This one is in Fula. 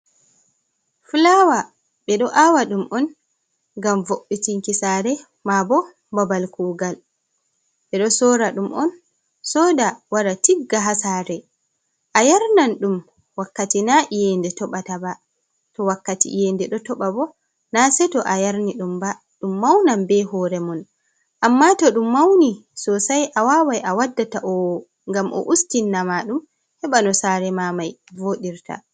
Flawa, ɓe ɗo awa ɗum on ngam vo'itinki sare, ma bo babal kugal. Ɓe ɗo sora ɗum on, soda, wara tigga ha sare. A yarnan ɗum wakkati na iyende toɓata ba. To wakkati iyende ɗo toɓa bo, na sei to a yarni ɗum ba. Ɗum maunan be hore mon, amma to ɗum mauni sosei, a wawai a wadda ta'owo ngam o ustinna ma ɗum, heɓa no sare ma mai vooɗirta.